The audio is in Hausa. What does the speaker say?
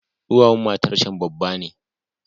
Duwawun matarcan babba ne.